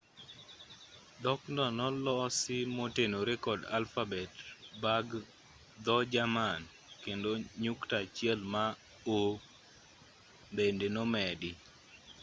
dhokno nolosi motenore kod alfabet bag dho-jerman kendo nyukta achiel ma õ/õ” bende nomedi